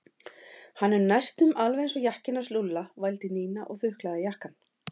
Hann er næstum alveg eins og jakkinn hans Lúlla vældi Nína og þuklaði jakkann.